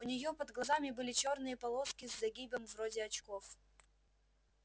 у нее под глазами были чёрные полоски с загибом вроде очков